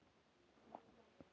Þú ratar? spurði Stefán.